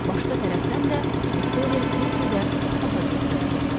Başqa tərəfdən də Viktoriya get-gedə daha çox boğulurdu.